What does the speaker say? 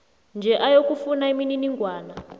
nje ayokufuna imininingwana